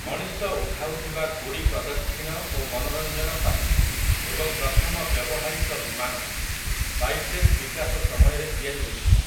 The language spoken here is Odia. ମଣିଷ ଉଠାଉଥିବା ଗୁଡ଼ି ପ୍ରଦକ୍ଷିଣ ଓ ମନୋରଞ୍ଜନ ପାଇଁ ଏବଂ ପ୍ରଥମ ବ୍ୟବହାରିକ ବିମାନ, ବାଇପ୍ଳେନ ବିକାଶ ସମୟରେ ତିଆରି ହୋଇଥିଲା ।